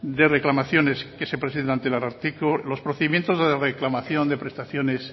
de reclamaciones que se presentan ante el ararteko los procedimientos de reclamación de prestaciones